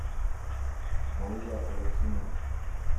майя лапшина